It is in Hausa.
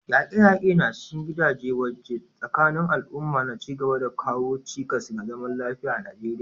Yaƙe-yaƙe na cikin gida da waje tsakanin al'umma na ci gaba da kawo cikas ga zaman lafiya a Najeriya.